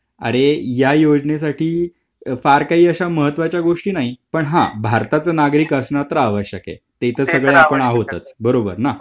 अरे या योजनेसाठी फार काही अशा महत्त्वाच्या गोष्टी नाही पण हा भारताचा नागरिक असणे आवश्यक तेथे सगळे आपण आहोतच बरोबर ना.